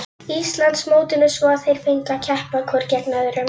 Íslandsmótinu svo að þeir fengju að keppa hvor gegn öðrum.